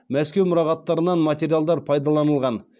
мәскеу мұрағаттарынан материалдар пайдаланылған